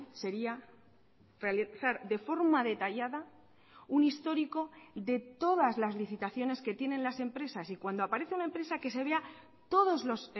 sería realizar de forma detallada un histórico de todas las licitaciones que tienen las empresas y cuando aparece una empresa que se vea todos los